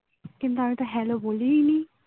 কিন্তু আমিতো hello বলি ই নি